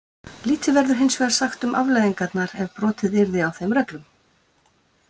Lítið verður hinsvegar sagt um afleiðingarnar ef brotið yrði á þeim reglum.